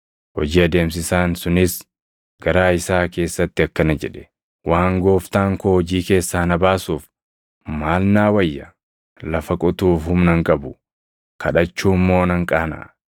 “Hojii adeemsisaan sunis garaa isaa keessatti akkana jedhe; ‘Waan gooftaan koo hojii keessaa na baasuuf, maal naa wayya? Lafa qotuuf humna hin qabu; kadhachuu immoo nan qaanaʼa.